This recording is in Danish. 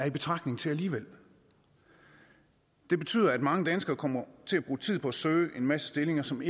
i betragtning til alligevel det betyder at mange danskere kommer til at bruge tid på at søge en masse stillinger som